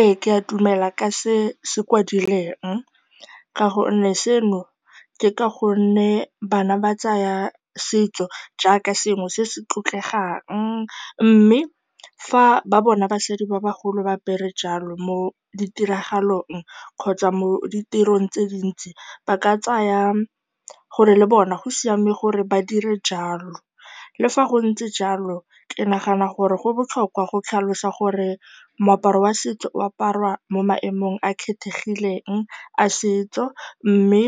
Ee, ke a dumela ka se se kwadilweng ka gonne seno ke ka gonne bana ba tsaya setso jaaka sengwe se se tlotlegang mme fa ba bona basadi ba bagolo ba apere jalo mo ditiragalong kgotsa mo ditirong tse dintsi, ba ka tsaya gore le bona go siame gore ba dire jalo. Le fa go ntse jalo, ke nagana gore go botlhokwa go tlhalosa gore moaparo wa setso o aparwa mo maemong a a kgethegileng a setso mme